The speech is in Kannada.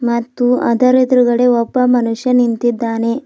ಮತ್ತು ಅದರ ಎದ್ರುಗಡೆ ಒಬ್ಬ ಮನುಷ್ಯ ನಿಂತಿದ್ದಾನೆ.